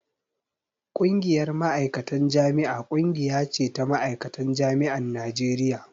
Ƙungiyar Ma'aikatan Jami'a ƙungiya ce ta ma'aikatan jami'an Najeriya